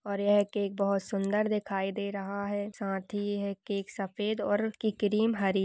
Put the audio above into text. और यह केक बहुत सुंदर दिखाई दे रहा है। साथ ही यह केक सफेद और की क्रीम हरी --